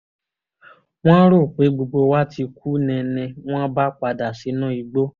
wọ́n rò pé gbogbo wa ti kú ni ni wọ́n bá padà sínú igbó